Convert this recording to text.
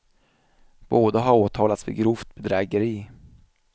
Båda har åtalats för grovt bedrägeri.